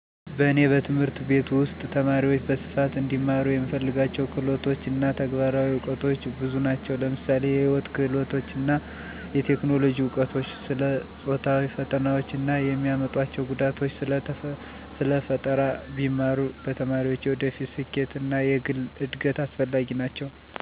እኔ በትምህርት ቤት ውስጥ ተማሪዎች በስፋት እንዲማሩ የምፈልጋቸው ክህሎቶች እና ተግባራዊ እውቀቶች ብዙ ናቸው። ለምሳሌ የህይወት ክህሎቶች እና የቴክኖሎጂ እውቀቶች፣ ስለ ጾታዊ ፈተናዎች እና የሚያመጡአቸው ጉዳቶች፣ ስለ ስራ ፈጠራ ቢማሩ ለተማሪዎች የወደፊት ስኬት እና ለግል እድገት አስፈላጊ ናቸው ብየ አምናለሁ። ምክንያቱም፣ እነዚህ ነገሮች ተማሪዎችን ወደፊት በየትኛው ዘርፍ ቢሰማሩ የተሻለ እድገት እንደሚያገኙ ቀድመው እንዲወስኑ ይረዳቸዋል፣ ራሳቸውን በወጣትነት ስሜት አደጋ ላይ እንዳይጥሉ ያግዛቸዋል፣ ከተመረቁ በኃላ መንግስትን ከመጠበቅ ይልቅ በራሳቸው ስራ ፈጥረው ይሰራሉ ,ይህ ደግሞ ለራስም ለሀገርም ይጠቅማል።